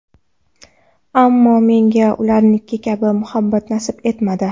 Ammo menga ularniki kabi muhabbat nasib etmadi.